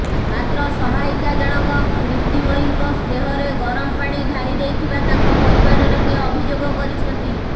ମାତ୍ର ସହାୟିକା ଜଣକ ପ୍ରୀତିମୟୀଙ୍କ ଦେହରେ ଗରମ ପାଣି ଢାଳି ଦେଇଥିବା ତାଙ୍କ ପରିବାର ଲୋକେ ଅଭିଯୋଗ କରିଛନ୍ତି